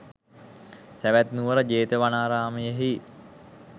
සැවැත් නුවර ජේතවනාරාමයෙහි